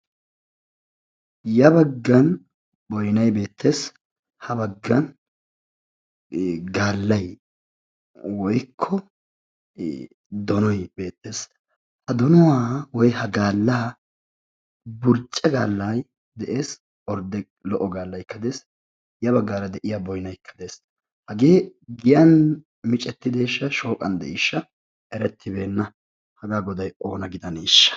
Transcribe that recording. Ya baggan boynayi beettes ha baggan gaallayi woykko donoyi beettes. Ha donuwa woykko ha gaallaa burcce gaallayi de"es ordde lo"o gaallaykka de"es ya baggaara de"iya boynaykka de"es. Hagee giyan micettideeshsha shooqan de"iishsha erettibeenna. Hagaa godayi oona gidaneeshsha.